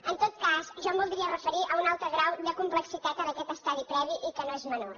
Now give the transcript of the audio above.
en tot cas jo em voldria referir a un altre grau de complexitat en aquest estadi previ i que no és menor